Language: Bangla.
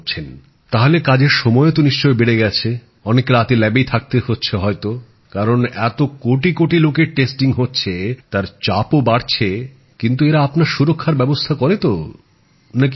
তাহলে কাজের সময়ও তো বেড়ে গেছে অনেক রাতে পরীক্ষাগারেই থাকতে হচ্ছে হয়তো কারণ এতো কোটি কোটি লোকের নমুনা পরীক্ষা হচ্ছে তার চাপও বাড়ছে কিন্তু এরা আপনার সুরক্ষার ব্যবস্থা করে তো নাকি করে না